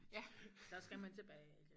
Ja så skal man tilbage igen